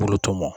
Kulo tɔmɔ